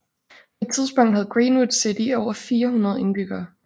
På et tidspunkt havde Greenwood City over 400 indbyggere